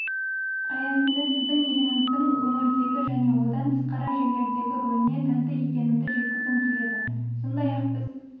аясында сіздің еліңіздің өңірдегі және одан тысқары жерлердегі рөліне тәнті екенімді жеткізгім келеді сондай-ақ біз